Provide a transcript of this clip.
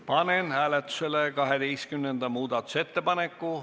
Panen hääletusele 12. muudatusettepaneku.